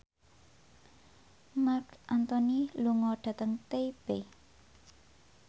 Marc Anthony lunga dhateng Taipei